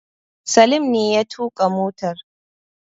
Salim ne ya tuƙa motar